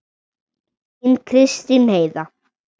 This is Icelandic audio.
Þín Kristín Heiða.